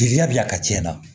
Jeliya bi a tiɲɛ na